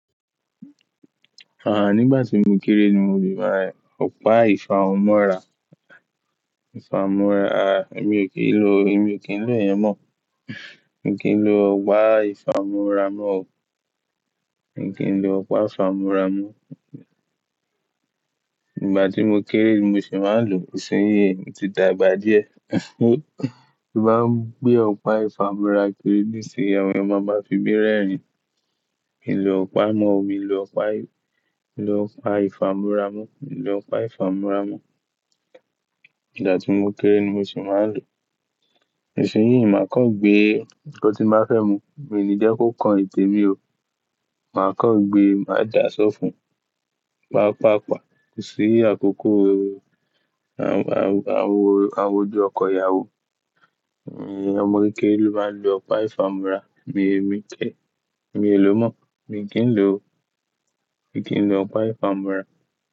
Àháà, nígbà tí mo kéré ni mo fi máa ń ọ̀pá ìfámọ́ra, ìfámọ́ra. À, èmi ò kí ń lo, èmi ò kí ń lo yẹn mọ̀. Mi ò kí ń lo ọ̀pá ìfámọ́ra mọ́ o. Mi ò kí ń lo ọ̀pá ìfámọ́ra mọ́. Ìgbà tí mo kéré mo sì máa ń lo, ìṣínyìí mi ti dàgbà díẹ̀. Ti báa ń gbé ọ̀pá ìfámọ́ra kiri nísìnyí, àwọn èyán má má fi mi rerin. Mi lò ọ̀pá mọ́, mi lò ọ̀pá, mi lò ọ̀pá ìfámọ́ra mọ́, mi lò ọ̀pá ìfámọ́ra mọ́. Ìgbà tí mo kéré ni mo sì máa ń lò. Nísìnyí, màá kàn gbé ko tí màá fẹ́ mu, mi ò ní jẹ́ kó kan ìtẹ́ mi o. Màá kàn gbé, màá dà á sọ́ fún, pàápàá pa. Nísìnyí, àkókò àwọ, àwọ, àwọ ojú ọkọ ìyàwó, ẹ̀, ọmọ kéékèé ló máa ń lo ọ̀pá ìfámọ́ra. Mi ò ní ké. Mi ò lò ó mọ́. Mi ò kí ń lò o. Mi ò kí ń lo ọ̀pá ìfámọ́ra.